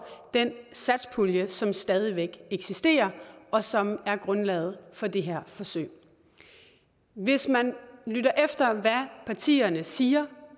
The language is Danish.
den satspulje som stadig væk eksisterer og som er grundlaget for det her forsøg hvis man lytter efter hvad partierne siger